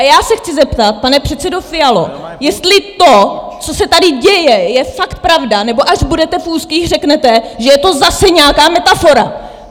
A já se chci zeptat, pane předsedo Fialo, jestli to, co se tady děje, je fakt pravda, nebo až budete v úzkých, řeknete, že je to zase nějaká metafora!